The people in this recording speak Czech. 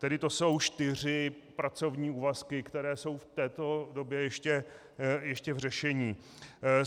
Tedy to jsou čtyři pracovní úvazky, které jsou v této době ještě v řešení.